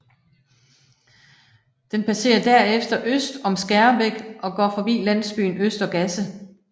Den passerer der efter øst om Skærbæk og går forbi landsbyen Øster Gasse